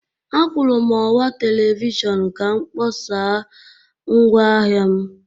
Akwụụrụ m ọwa telivishọn ka m kpọsaa ngwaahịa m.